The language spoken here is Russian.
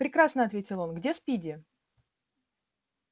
прекрасно ответил он где спиди